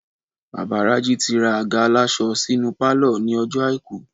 Bàbá Raji ti ra àga aláṣọ sínú pálọ̀ ní ọjọ́ àìkú